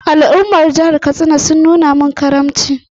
Al’ummar jihar Katsina sun nuna mini karamci sosai.